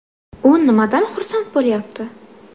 U nimadan xursand bo‘lyapti?